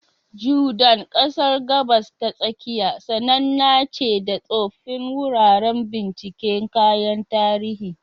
Jordan, ƙasar Gabas ta Tsakiya, sananna ce da tsoffin wuraren binciken kayan tarihi.